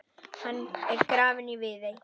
Hann er grafinn í Viðey.